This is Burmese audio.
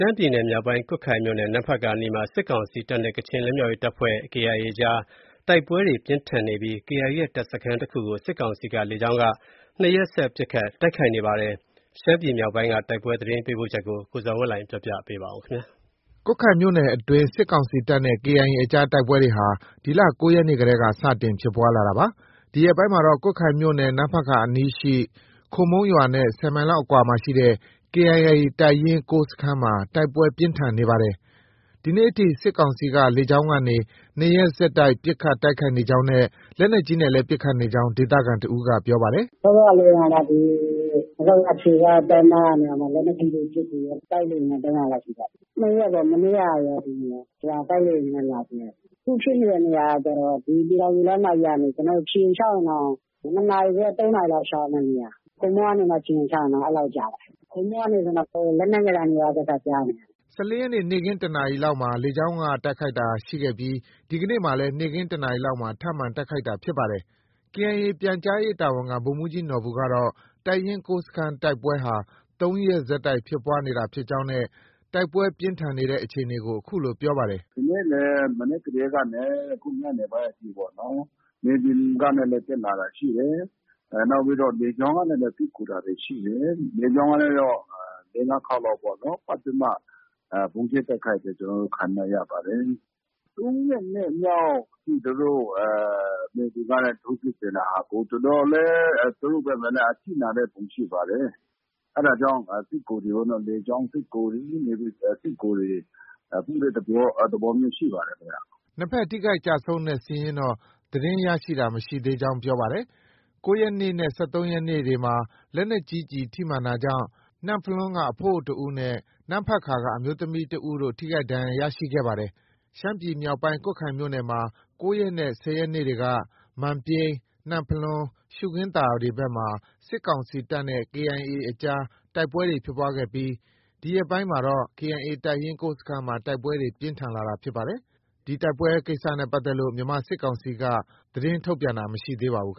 မ်းပြည်နယ်မြောက်ပိုင်း ကွတ်ခိုင်မြို့နယ် နမ့်ဖတ်ကာအနီးမှာ စစ်ကောင်စီတပ်နဲ့ ကချင်လွတ်မြောက်ရေးတပ်ဖွဲ့ KIA အကြား တိုက်ပွဲပြင်းထန်နေပြီး KIA ရဲ့ တပ်စခန်းကို စစ်ကောင်စီက လေကြောင်းက နှစ်ရက်ဆက် ပစ်ခတ် တိုက်ခိုက်နေပါတယ်။ ရှမ်းပြည်မြောက်ပိုင်းက တိုက်ပွဲသတင်းပေးပို့ချက်ကို ကိုဇော်ဝင်းလှိုင်က တင်ပြပေးပါမယ်။ ကွတ်ခိုင်မြို့နယ်အတွင်း စစ်ကောင်စီတပ်နဲ့ KIA အကြား တိုက်ပွဲတွေဟာ ဒီလ ၉ရက်နေ့တည်းက စတင်ဖြစ်ပွား လာတာပါ။ ဒီရက်ပိုင်းမှာတော့ ကွတ်ခိုင်မြို့နယ် နမ့်ဖတ်ကာအနီးရှိ ခိုမုန်းရွာနဲ့ ၁၀ မိုင်လောက်အကွာမှာရှိတဲ့ KIA တပ်ရင်း ၉ စခန်းမှာ တိုက်ပွဲပြင်းထန်နေပါတယ်။ ဒီနေ့ထိ စစ်ကောင်စီက လေကြောင်းကနေ နှစ်ရက်ဆက် ပစ်ခတ်တိုက်ခိုက်နေကြောင်း နဲ့ လက်နက်ကြီးနဲ့လည်း ပစ်ခတ်နေကြောင်း ဒေသခံတစ်ဦးက ပြောပါတယ်။ “ စောစောကနေ နမ့်ဖတ်ကာအခြေစိုက်တပ်မကနေ လက်နက်ကြီးနဲ့ ပစ်ကူတယ်။ တိုက်လေယာဉ်လည်း ၃ခါလောက်ရှိသွားပြီ။ ၂ရက်ပေါ့။ မနေ့ကရော၊ ဒီနေ့ရော တိုက်လေယာဉ်နဲ့ လာကြဲတာ။ အခုဖြစ်နေတဲ့နေရာက ပြည်ထောင်စုလမ်းမကြီးကနေ ခြေလျင်လျှောက်ရင်တောင် ၂နာရီခွဲ ၃နာရီလောက် လျှောက်ရမယ့် နေရာ။ ခိုမုန်းကနေ ခြေလျင်လျှောက်ရင် အဲလောက်ကြတယ်။ ခိုမုန်းကနေဆိုရင် လက်နက်ငယ်သံတွေက အစ ကြားနေရတာ။” ၁၄ရက်နေ့က နေ့ခင်း ၁နာရီလောက်မှာ လေကြောင်းက တိုက်ခိုက်တာရှိခဲ့ပြီး ဒီကနေ့မှာလည်း နေ့ခင်း ၁နာရီလောက်မှာ ထပ်မံ တိုက်ခိုက်တာဖြစ်ပါတယ်။ KIA ပြန်ကြားရေးတာဝန်ခံ ဗိုလ်မှုးကြီးနော်ဘူကတော့ တပ်ရင်း ၉စခန်းတိုက်ပွဲဟာ ၃ရက်ဆက် ဖြစ်ပွားနေတာဖြစ်ကြောင်းနဲ့ တိုက်ပွဲပြင်းထန်နေတဲ့အခြေအနေကို အခုလို ပြောပါတယ်။ “ ဒီနေ့လည်း မနက်ကတည်းကနေ အခု ညနေအထိပေါ့နော်။ မြေပြင်ကနေလည်း တက်လာတာရှိတယ်။ နောက်ပြီးတော့ လေကြောင်းကလည်း စစ်ကူတာတွေ ရှိတယ်။ လေကြောင်းကနဲ့တော့ ၄- ၅ ခေါက်လောက် ပတ်ပြီးမှ ဗုံးကြဲတိုက်ခိုက်တာ ကျနော်တို့ ခံနေရပါတယ်။ ၃ရက်နေ့မြောက် မြေပြင်ကနေ ထိုးစစ်ဆင်တာဟာ အခု တော်တော်လေး သူတို့ဘက်မှာလည်း အထိနာတဲ့ပုံရှိပါတယ်။ အဲဒါတွေကြောင့် စစ်ကူတွေကိုတော့ လေကြောင်းစစ်ကူတွေ ၊ မြေပြင်စစ်ကူတွေ ပို့တဲ့ သဘောမျိုးရှိပါတယ်။” နှစ်ဘက် ထိခိုက်ကျဆုံးတဲ့ စာရင်းတော့ သတင်းရရှိတာမရှိသေးကြောင်း ပြောပါတယ်။ ၉ရက်နေ့နဲ့ ၁၃ရက်နေ့မှာတော့ လက်နက်ကြီး ကျည်ထိမှန်တာကြောင့် နမ့်ဖလွန်းက အဖိုးအိုတစ်ဦးနဲ့ နမ့်ဖတ်ကာက အမျိုးသမီးတစ်ဦးတို့ ထိခိုက်ဒဏ်ရာရခဲ့ပါတယ်။ ရှမ်းပြည်နယ်မြောက်ပိုင်း ကွတ်ခိုင်မြို့နယ်မှာ ၉ရက်နဲ့ ၁၀ရက်နေ့တွေက မန်ပြိန်း၊ နမ့်ဖလွန်း၊ ရှုခင်းသာဘက်တွေမှာ စစ်ကောင်စီတပ်နဲ့ KIA အကြားတိုက်ပွဲတွေ ဖြစ်ပွားခဲ့ပြီး ဒီရက်ပိုင်းမှာတော့ KIA တပ်ရင်း၉ စခန်းမှာ တိုက်ပွဲတွေ ပြင်းထန်လာတာဖြစ်ပါတယ်။ ဒီတိုက်ပွဲနဲ့ပတ်သက်လို့ မြန်မာစစ်ကောင်စီက ထုတ်ပြန်ကြေညာတာမရှိသေးပါဘူး။